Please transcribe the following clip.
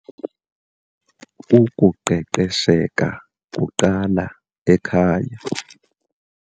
Ukuqeqesheka kuqala ekhaya.